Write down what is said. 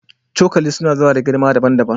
Cokali suna zuwa da girma daban-daban